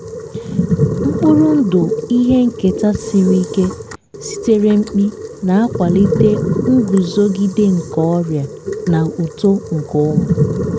mkpụrụ ndụ ihe nketa siri ike sitere mkpi na-akwalite nguzogide nke ọrịa na uto nke ụmụ.